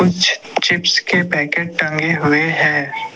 कुछ चिप्स के पैकेट टंगे हुए हैं।